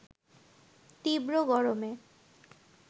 তীব্র গরমে